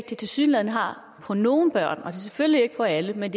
det tilsyneladende har på nogle børn selvfølgelig ikke for alle men